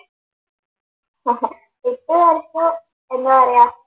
എന്താ പറയാ